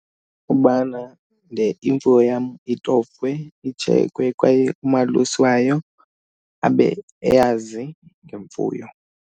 Kubana le imfuyo yam itofwe, itshekhwe kwaye umalusi wam abe eyazi ngemfuyo.